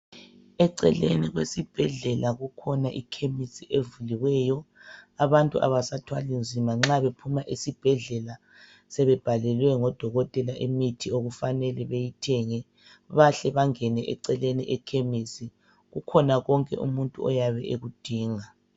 Eceleni kwesibhedlela kukhona ikhemesi evuliweyo. Abantu abasathwali nzima, nxa bephuma esibhedlela, sebebhalelwe ngodokotela imithi okufanele beyithenge. Behle bengene eceleni ekhemisi. Kukhona konke umuntu ayabe ekudinga.